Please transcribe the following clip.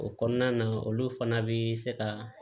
O kɔnɔna na olu fana bi se ka